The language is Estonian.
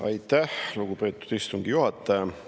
Aitäh, lugupeetud istungi juhataja!